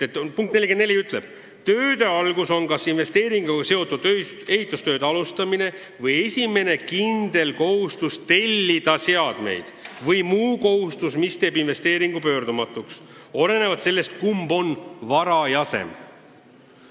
Suunistes on öeldud: tööde alustamine on kas investeeringuga seotud ehitustööde alustamine või esimene kindel kohustus tellida seadmeid või muu kohustus, mis teeb investeeringu pöördumatuks, olenevalt sellest, kumb on varajasem.